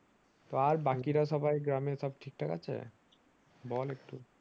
আর বাকিরা সবাই গ্রামে সব ঠিকঠাক আছে বল একটু ।